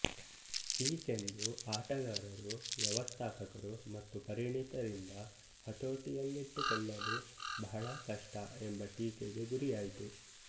ಈ ಚೆಂಡು ಆಟಗಾರರು ವ್ಯವಸ್ಥಾಪಕರು ಮತ್ತು ಪರಿಣಿತರಿಂದ ಹತೋಟಿಯಲ್ಲಿಟ್ಟುಕೊಳ್ಳಲು ಬಹಳ ಕಷ್ಟ ಎಂಬ ಟೀಕೆಗೆ ಗುರಿಯಾಯಿತು